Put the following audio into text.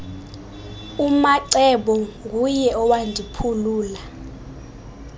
umacebo nguye owandiphulula